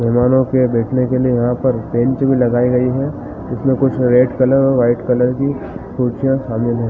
मेहमानो के बैठने के लिए यहाँ पर बेंच भी लगाए गए है उसमें कुछ रेड कलर और वाइट कलर की कुर्सियाँ शामिल हैं ।